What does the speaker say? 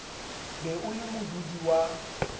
be o le modudi wa